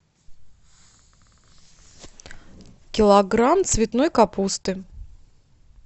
килограмм цветной капусты